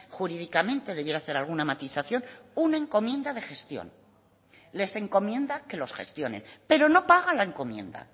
jurídicamente debiera hacer alguna matización una encomienda de gestión les encomienda que los gestionen pero no pagan la encomienda